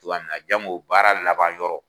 cogoya min na jango baara laban yɔrɔ.